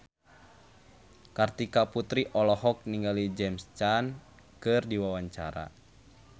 Kartika Putri olohok ningali James Caan keur diwawancara